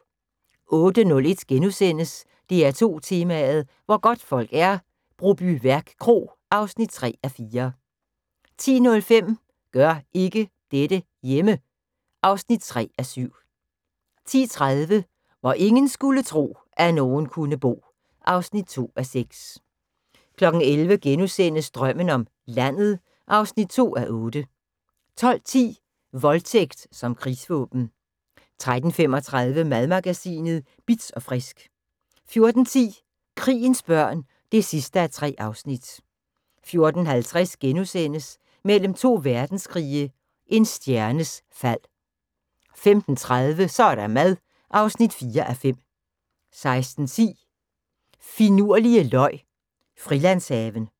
08:01: DR2 Tema: Hvor godtfolk er - Brobyværk Kro (3:4)* 10:05: Gør ikke dette hjemme! (3:7) 10:30: Hvor ingen skulle tro, at nogen kunne bo (2:6) 11:00: Drømmen om landet (2:8)* 12:10: Voldtægt som krigsvåben 13:35: Madmagasinet Bitz & Frisk 14:10: Krigens børn (3:3) 14:50: Mellem to verdenskrige – en stjernes fald * 15:30: Så er der mad (4:5) 16:10: Finurlige løg Frilandshaven